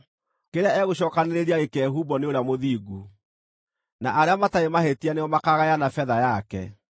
kĩrĩa egũcookanĩrĩria gĩkehumbwo nĩ ũrĩa mũthingu, na arĩa matarĩ mahĩtia nĩo makaagayana betha yake.